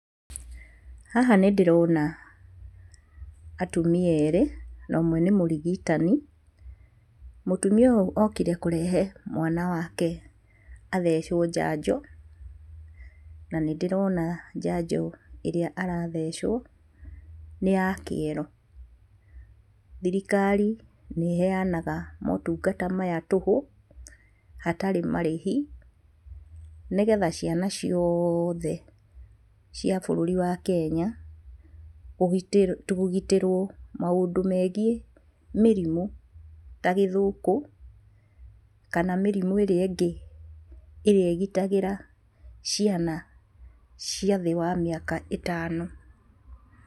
Haha nĩndĩrona atumia erĩ, na ũmwe nĩ mũrigitani. Mũtumia ũyũ okire kũrehe mwana wake athecwo njanjo. Na nĩndĩrona njanjo ĩrĩa arathecwo nĩ ya kĩero. Thirikari nĩĩheanaga motungata maya tũhũ hatarĩ marĩhi nĩgetha ciana cioothe cia bũrũri wa Kenya kũgitĩrwo maũndũ megiĩ mĩrimũ ta gĩthũkũ kana mĩrimũ ĩrĩa ĩngĩ ĩrĩa ĩgitagĩra ciana cia thĩ wa mĩaka ĩtano.